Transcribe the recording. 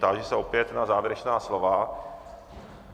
Táži se opět na závěrečná slova.